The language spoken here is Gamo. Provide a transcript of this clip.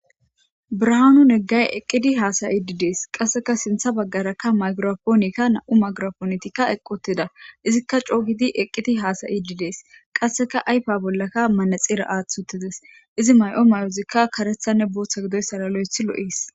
Biranu negayi eqidi hayide Desi.qassekka sinththa bagaraka mayigirapponekka qasekka sinththa bagaraka nam''u mayigirapponekka eqqi uttida , izzika coo gidi eqi uttides.izzi mayo mayoyi kareththara boththara loyiththi lo'es.